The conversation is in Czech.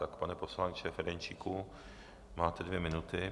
Tak, pane poslanče Ferjenčíku, máte dvě minuty.